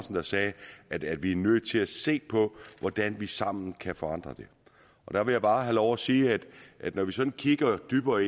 der sagde at vi er nødt til at se på hvordan vi sammen kan forandre det og der vil jeg bare have lov at sige at når vi sådan kigger dybere